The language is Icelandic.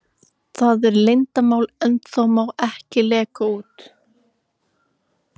Það er leyndarmál ennþá, má ekki leka út.